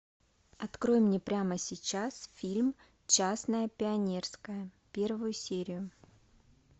открой мне прямо сейчас фильм частное пионерское первую серию